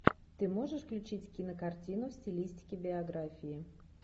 ты можешь включить кинокартину в стилистике биографии